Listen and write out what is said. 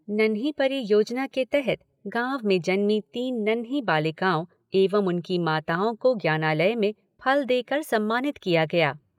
नन्ही परी योजना के तहत गांव में जन्मी तीन नन्ही बालिकाओं एवं उनकी माताओं को ज्ञानालय में फल देकर सम्मानित किया गया।